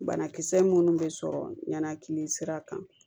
Banakisɛ minnu bɛ sɔrɔ ɲanakili sira kan